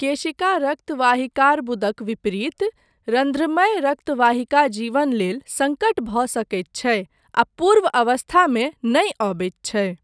केशिका रक्तवाहिकार्बुदक विपरीत, रन्ध्रमय रक्तवाहिका जीवन लेल सङ्कट भऽ सकैत छै आ पूर्व अवस्थामे नहि अबैत छै।